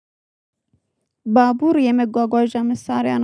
ባቡር የመጓጓዣ መሳሪያ ነው